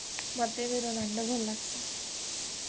ହଁ ମତେ ବି Ronaldo ଭଲ ଲାଗସେ